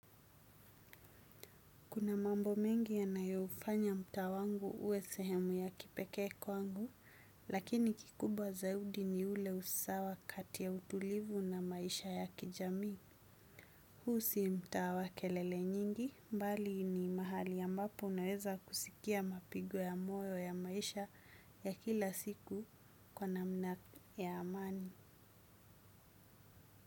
Kuna mambo mengi yanayofanya mtaa wangu uwe sehemu ya kipekee kwangu, lakini kikubwa zaidi ni ule usawa kati ya utulivu na maisha ya kijami. Huu si mtaa wa kelele nyingi, mbali ni mahali ambapo unaweza kusikia mapigo ya moyo ya maisha ya kila siku kwa namna ya amani.